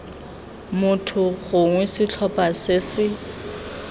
motho gongwe setlhopha se se